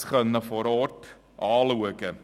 Ich konnte mir das vor Ort ansehen.